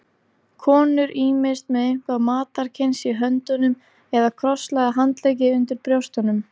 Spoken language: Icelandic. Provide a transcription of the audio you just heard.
Konur ýmist með eitthvað matarkyns í höndunum eða krosslagða handleggi undir brjóstunum.